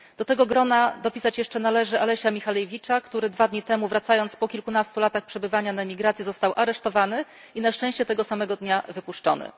Do tego grona należy jeszcze dopisać Alesia Michalewicza, który dwa dni temu, wracając po kilkunastu latach przebywania na emigracji, został aresztowany i na szczęście tego samego dnia wypuszczony.